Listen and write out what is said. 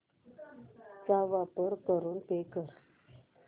चा वापर करून पे कर